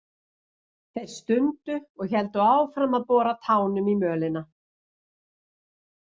Þau stundu og héldu áfram að bora tánum í mölina.